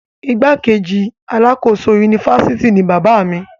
igbákejì alákòóso unifásitì ni bàbá mi